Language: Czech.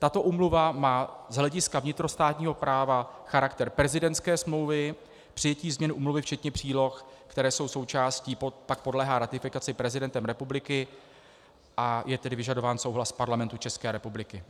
Tato úmluva má z hlediska vnitrostátního práva charakter prezidentské smlouvy, přijetí změny úmluvy včetně příloh, které jsou součástí, pak podléhá ratifikaci prezidentem republiky, a je tedy vyžadován souhlas Parlamentu České republiky.